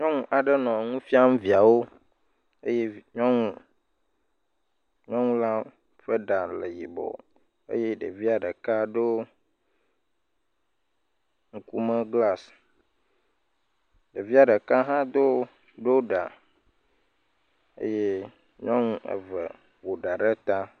Nyɔnu aɖe nɔ nufiam viawo eye nyɔnu , nyɔnu la ƒe ɖa nɔ yibɔ eye ɖevia ɖeka ɖo ŋkume glas, ɖevia ɖeka hã ɖo ɖa eye nyɔnu eye ƒo ɖa ɖe ta.